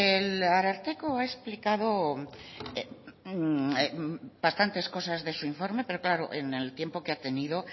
el ararteko ha explicado bastantes cosas de su informe pero claro en el tiempo que ha tenido